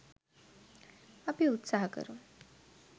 අපි උත්සහ කරමු